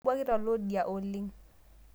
Kobuakita loo idia oleng